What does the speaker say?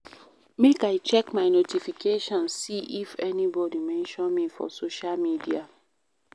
Make I check my notifications, see if anybodi mention me for social media.